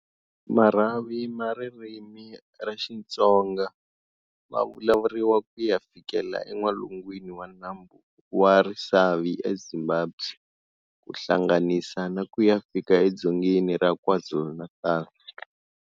Marhavi ma ririmi ra Xitsonga ma vulavuriwa kuya fikela en'walungwini wa nambu wa Risavi eZimbabwe, ku hlanganisa na kuya fika eDzongeni ra KwaZulu-Natal.